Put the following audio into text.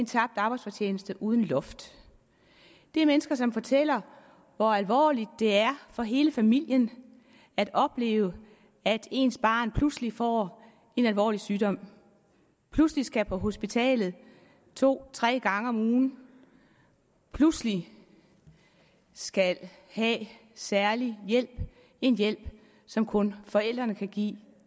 tabt arbejdsfortjeneste uden loft det er mennesker som fortæller hvor alvorligt det er for hele familien at opleve at ens barn pludselig får en alvorlig sygdom pludselig skal på hospitalet to tre gange om ugen pludselig skal have særlig hjælp en hjælp som kun forældrene kan give